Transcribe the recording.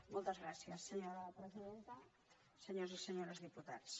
moltes gràcies senyora presidenta senyores i senyors diputats